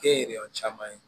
Kɛn yɛrɛyɔn caman ye